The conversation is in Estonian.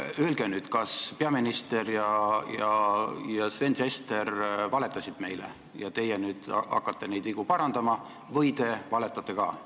Öelge nüüd, kas peaminister ja Sven Sester valetasid meile ja teie nüüd hakkate neid vigu parandama või teie valetate ka?